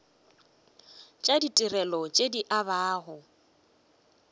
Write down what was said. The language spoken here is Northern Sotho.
tša ditirelo tše di abjago